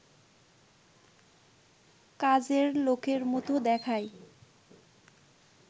কাজের লোকের মতো দেখায়